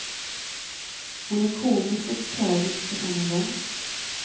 Hon är komisk och tragisk på samma gång.